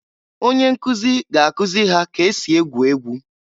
Onye nkụzị ga-akụzị ha ka esi egwu egwu.